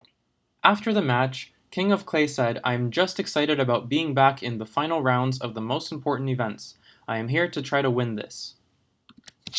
after the match king of clay said i am just excited about being back in the final rounds of the most important events i am here to try to win this